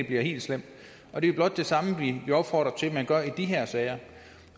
bliver helt slemt det er blot det samme vi opfordrer til man gør i de her sager